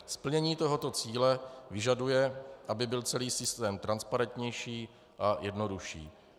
Splnění tohoto cíle vyžaduje, aby byl celý systém transparentnější a jednodušší.